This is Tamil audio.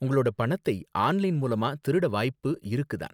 உங்களோட பணத்தை ஆன்லைன் மூலமா திருட வாய்ப்பு இருக்கு தான்.